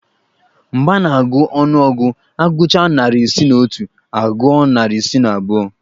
Mgbe a na-agụ ọnụọgụ, agụchaa narị isi na otu agụọ narị isi na abụọ